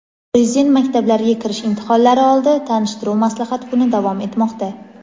Prezident maktablariga kirish imtihonlari oldi tanishtiruv-maslahat kuni davom etmoqda.